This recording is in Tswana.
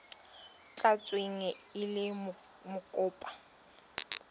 tla tsewa e le mokopa